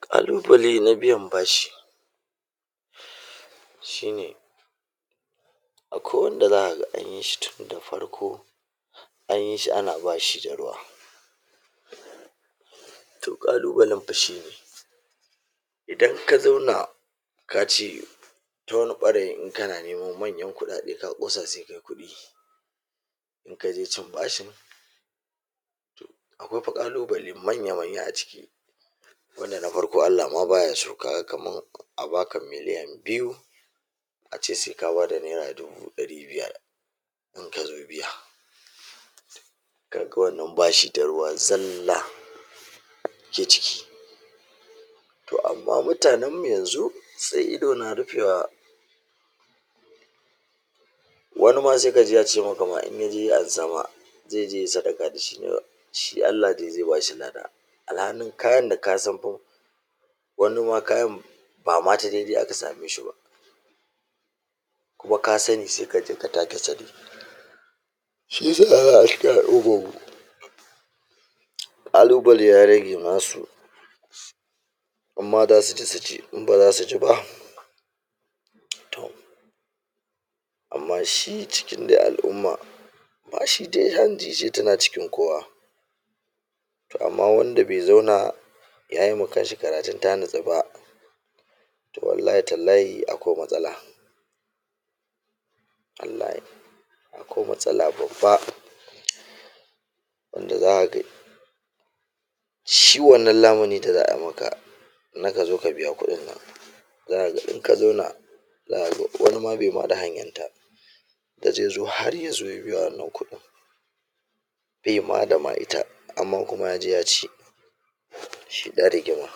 Ƙalubale na biyan bashi, shine akwai wanda za ka ga an yi shi tun da farko, an yi shi ana bashi da ruwa. To, ƙalubalen fa shine idan ka zauna ka ce ta wani ɓangaren in kana neman manyan kuɗaɗe, ka ƙosa sai kai kuɗi. In ka je cin bashin, akwai fa ƙalubale manya-manya a ciki. Wanda na farko, Allah ma baya so. Kaga kamar a baka milliyan biyu, a ce sai ka bada naira dubu ɗari biyar in ka zo biya. Kaga wannan bashi da ruwa zalla ke ciki. To, amma mutanen mu yanzu sai ido na rufewa, wani ma sai ka ji yace maka ma in ya je ya ansa ma, ze je yai sadaka da shi ne wai shi Allah dai zai bashi lada. Alhanin kayan da ka san fa wani ma kayan ba ma ta dai-dai aka samenshi ba, kuma ka sani sai ka je ka taak’e sani. Shi yasa za ka ga ƙalubale ya rage nasu. In ma da su ci, su ci. In ba zasu ci ba toh. Amma shi cikin dai al’umma, bashi dai hanji ce, tana cikin kowa. To, amma wanda bai zauna yayi ma kanshi karatun ta natsu ba, to wallahi tallahi akwai matsala. Wallahi akwai matsala babba. Wanda zaka ga shi wannan lamuni da za ai maka na ka zo ka biya kuɗin nan, za ka ga in ka zauna, za ka ga wani ma bai ma da hanyan da zai zo har ya zo ya biya wannan kuɗin, ba ya ma da hanyar ta. Amma kuma ya je ya ci, shi ɗan rigima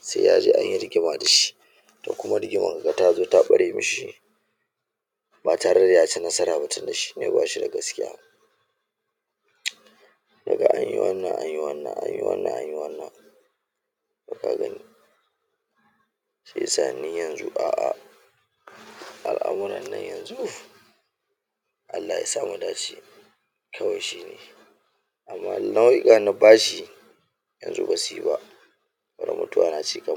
sai ya je an yi rigima da shi. To, kuma rigimar kaga ta zo ta ɓare mishi ba tare da ya ci nasara ba, tunda shine ba shi da gaskiya. Ka ga an yi wannan an yi wannan, an yi wannan an yi wannan, to ka gani. Sai sa ni yanzu a al’amuran nan yanzu, Allah yasa mu dace kawai shi ne. Amma nau’ikan bashi yanzu ba su yi ba. Bare mutuwar na ci kaman…